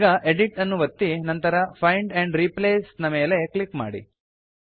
ಈಗ ಎಡಿಟ್ ಅನ್ನು ಒತ್ತಿ ನಂತರ ಫೈಂಡ್ ಆಂಡ್ ರಿಪ್ಲೇಸ್ ನ ಮೇಲೆ ಕ್ಲಿಕ್ ಮಾಡಿ